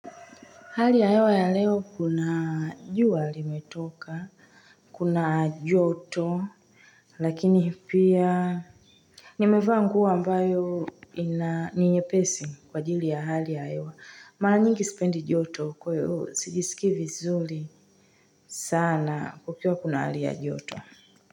Hali ya hewa ya leo kuna jua limetoka, kuna joto, lakini pia nimevaa nguo ambayo ni nyepesi kwa ajili ya hali ya hewa. Mara nyingi spendi joto kwa hiyo sijisikii vizuri sana kukiwa kuna hali ya joto.